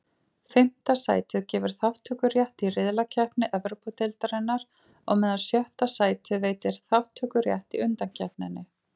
Fimmta sætið gefur þátttökurétt í riðlakeppni Evrópudeildarinnar, á meðan sjötta sætið veitir þátttökurétt í undankeppninni.